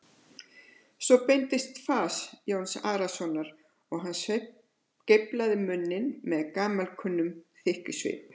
Svo breyttist fas Jóns Arasonar og hann geiflaði munninn með gamalkunnum þykkjusvip.